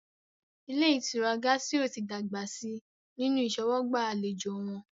Ilé ìtura Gásírò tí dàgbà si nínu ìṣọwọ́gbà àlejò wọn